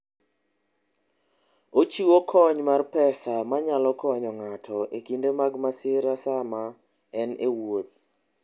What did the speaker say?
Ochiwo kony mar pesa manyalo konyo ng'ato e kinde mag masira sama en e wuoth.